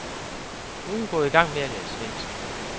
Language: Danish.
Nu er hun gået i gang med at lære svensk.